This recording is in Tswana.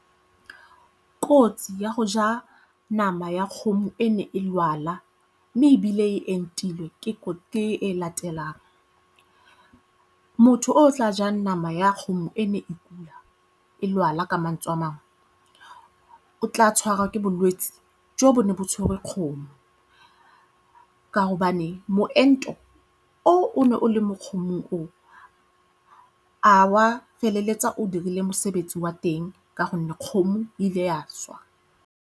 Kotsi ya go ja nama ya kgomo e ne e lwala mme ebile e entilwe ke e latelang. Motho o o tla jang nama ya kgomo e ne e e lwala ka mantswe a mangwe o tla tshwara ke bolwetse jo bo ne bo tshwerwe kgomo ka gobane moento o ne o le mo kgomo o a wa feleletsa o dirile mosebetsi wa teng ka gonne kgomo ile ya swa.